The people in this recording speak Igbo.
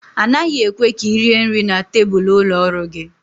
A naghị ekwe ka ị rie nri na tebụl ụlọ ọrụ gị